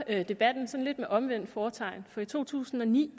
debatten med omvendt fortegn for i to tusind og ni